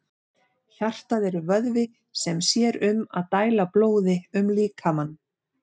Hjartað er vöðvi sem sér um að dæla blóði um líkamann.